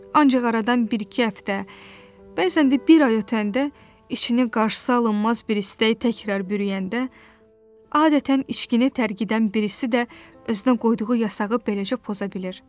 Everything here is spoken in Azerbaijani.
Ancaq aradan bir-iki həftə, bəzən də bir ay ötəndə, içini qarşısıalınmaz bir istək təkrar bürüyəndə, adətən içkini tərgidən birisi də özünə qoyduğu yasağı beləcə poza bilir.